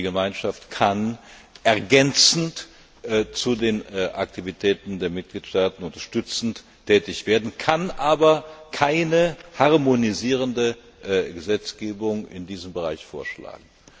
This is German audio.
die Gemeinschaft kann ergänzend zu den Aktivitäten der Mitgliedstaaten unterstützend tätig werden, kann aber keine harmonisierende Gesetzgebung in diesem Bereich vorschlagen.